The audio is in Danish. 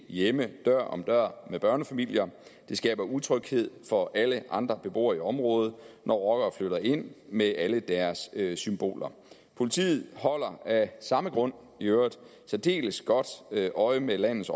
hjemme dør om dør med børnefamilier det skaber utryghed for alle andre beboere i området når rockere flytter ind med alle deres symboler politiet holder af samme grund i øvrigt særdeles godt øje med landets